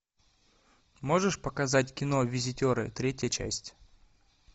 можешь показать кино визитеры третья часть